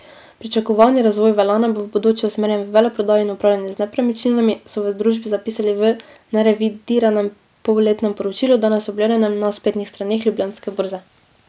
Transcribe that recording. Pričakovani razvoj Velane bo v bodoče usmerjen v veleprodajo in upravljanje z nepremičninami, so v družbi zapisali v nerevidiranem polletnem poročilu, danes objavljenem na spletnih straneh Ljubljanske borze.